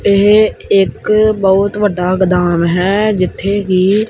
ਏ ਇੱਕ ਬਹੁਤ ਵੱਡਾ ਗੋਦਾਮ ਹੈ ਜਿੱਥੇ ਕਿ--